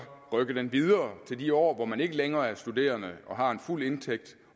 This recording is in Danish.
rykke den videre til de år hvor man ikke længere er studerende og har en fuld indtægt